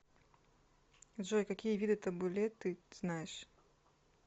джой какие виды табуле ты знаешь